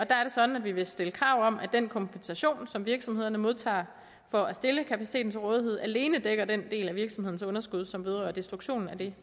sådan at vi vil stille krav om at den kompensation som virksomhederne modtager for at stille kapaciteten til rådighed alene dækker den del af virksomhedens underskud som vedrører destruktionen af det